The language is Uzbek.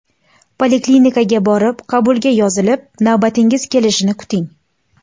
Poliklinikaga borib, qabulga yozilib navbatingiz kelishini kuting!